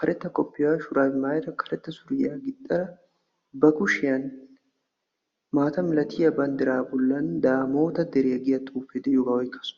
karetta kootiya maayada karetta suriya gixxada ba kushiyan maata milatiya banddiraa bollan daamoota deriya giya xuufee de'iyogaa oykkaaasu.